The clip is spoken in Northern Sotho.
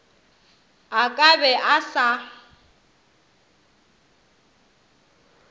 a ka be a sa